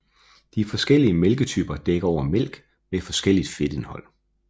De forskellige mælketyper dækker over mælk med forskelligt fedtindhold